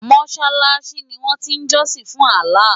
Mọ́ṣáláṣí ni wọ́n ti ń jọ́sìn fún Allah.